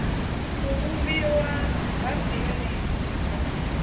u vhumbiwa ha dziyuniti dza